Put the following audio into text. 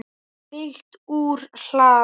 Fylgt úr hlaði